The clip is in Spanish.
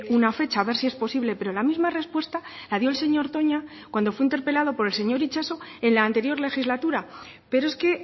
una fecha a ver si es posible pero la misma respuesta la dio el señor toña cuando fue interpelado por el señor itxaso en la anterior legislatura pero es que